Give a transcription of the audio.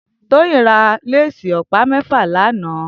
Toyin rà lésì òpá mèfá lànã